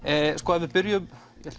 ef við byrjum